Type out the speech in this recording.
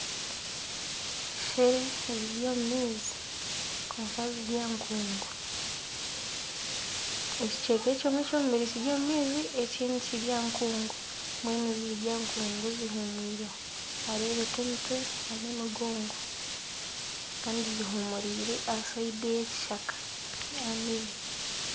Enseere ziri omu maizi kwonka ziri aha nkungu, ekicweka ekimwe eky'omubiri kiri omu maizi ekindi kiri aha nkungu ezimwe ziri aha nkungu zihumwireho nihareebeka emitwe nana emigogo kandi zihumuriire aha siyidi ey'ekishaka ey'amaizi